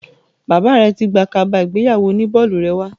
Bàbá rẹ ti gbé kaba ìgbéyàwó oní bọ́ọ̀lù rẹ wá.